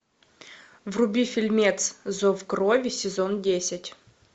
вруби фильмец зов крови сезон десять